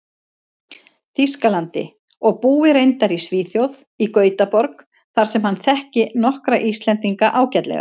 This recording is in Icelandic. Þýskalandi, og búi reyndar í Svíþjóð, í Gautaborg, þar sem hann þekki nokkra Íslendinga ágætlega.